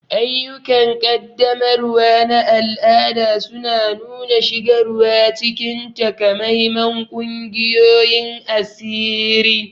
Ayyukan ƙaddamarwa na al'ada suna nuna shigarwa cikin takamaiman ƙungiyoyin asiri.